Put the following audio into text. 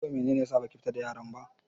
Yau mene ne ya sa baki fita da yaran ba?